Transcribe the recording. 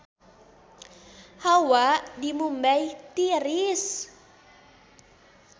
Hawa di Mumbay tiris